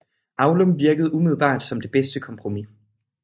Aulum virkede umiddelbart som det bedste kompromis